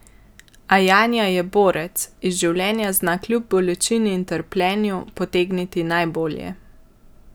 A Janja je borec, iz življenja zna kljub bolečini in trpljenju potegniti najbolje.